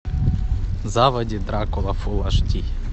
заводи дракула фул аш ди